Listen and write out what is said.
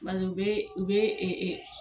bɛ u bɛ ee